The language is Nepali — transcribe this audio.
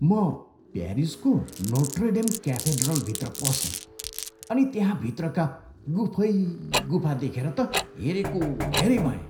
म प्यारिसको नोट्रे डेम क्याथेड्रलभित्र पसेँ अनि त्यहाँ भित्रका गुफै गुफा देखेर त हेरेको हेऱ्यै भएँ।